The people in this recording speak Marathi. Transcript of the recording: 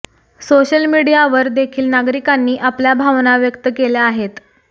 सोशल मीडियावर देखील नागरिकांनी आपल्या भावना व्यक्त केल्या आहेत